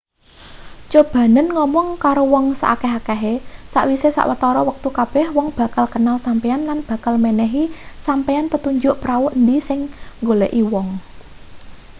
cobanen ngomong karo wong saakeh-akehe sakwise sawetara wektu kabeh wong bakal kenal sampeyan lan bakal menehi sampeyan petunjuk prau endi sing nggoleki wong